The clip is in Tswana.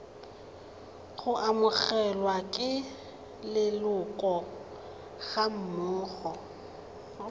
go amogelwa ke leloko gammogo